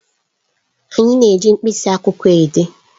Anyị na-eji mkpịsị akwụkwọ dee